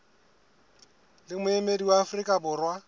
le moemedi wa afrika borwa